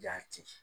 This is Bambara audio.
Jati